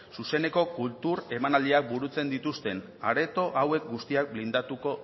zuzeneko kultura emanaldiak burutzen dituzten areto hauek guztiak blindatuko